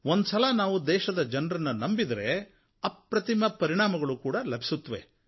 ಒಂದು ಸಲ ನಾವು ದೇಶದ ಜನರನ್ನು ನಂಬಿದರೆ ಅಪ್ರತಿಮ ಪರಿಣಾಮಗಳೂ ಲಭಿಸುತ್ತವೆ